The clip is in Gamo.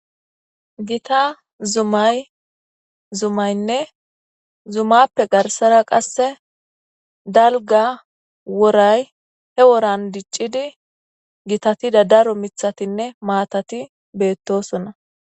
Gita zumay zumaynne zumappe garsara qasse dalGga woray he woran diccidi gitatida daro mithatinne maatati beettoosona.